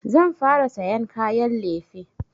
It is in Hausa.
Zan fara sayan kayan lefe.